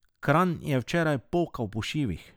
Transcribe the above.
Kranj je včeraj pokal po šivih.